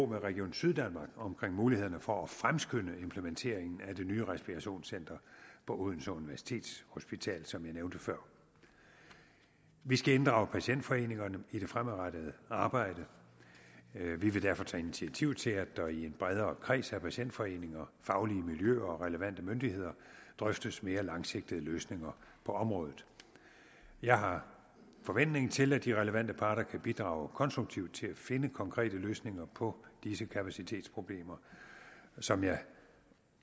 med region syddanmark om mulighederne for at fremskynde implementeringen af det nye respirationscenter på odense universitetshospital som jeg nævnte før vi skal inddrage patientforeningerne i det fremadrettede arbejde vi vil derfor tage initiativ til at der i en bredere kreds af patientforeninger faglige miljøer og relevante myndigheder drøftes mere langsigtede løsninger på området jeg har forventning til at de relevante parter kan bidrage konstruktivt til at finde konkrete løsninger på disse kapacitetsproblemer som jeg